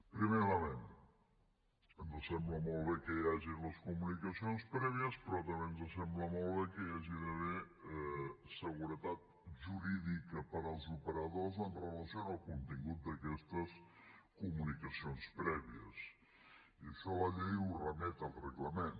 primer element ens sembla molt bé que hi hagi les comunicacions prèvies però també ens sembla molt bé que hi hagi d’haver seguretat jurídica per als operadors amb relació al contingut d’aquestes comunicacions prèvies i això la llei ho remet al reglament